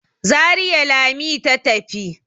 Zariya Lami ta tafi.